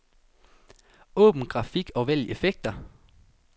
Åbn grafik og vælg effekter.